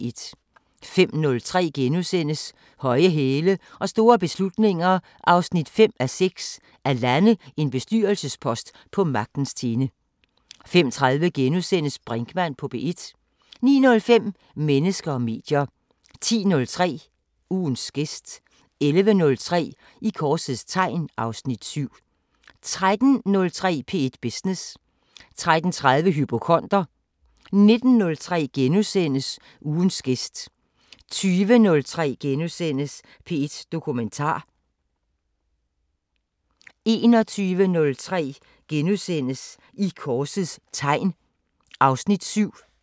05:03: Høje hæle og store beslutninger 5:6 – At lande en bestyrelsespost på magtens tinde * 05:30: Brinkmann på P1 * 09:05: Mennesker og medier 10:03: Ugens gæst 11:03: I korsets tegn (Afs. 7) 13:03: P1 Business 13:30: Hypokonder 19:03: Ugens gæst * 20:03: P1 Dokumentar * 21:03: I korsets tegn (Afs. 7)*